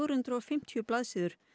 hundruð og fimmtíu blaðsíður